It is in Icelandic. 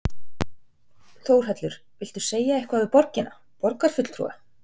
Þórhallur: Viltu segja eitthvað við borgina, borgarbúa?